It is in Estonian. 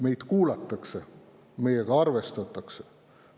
Meid kuulatakse, meiega arvestatakse.